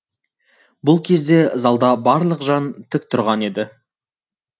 бұл кезде залда барлық жан тік тұрған еді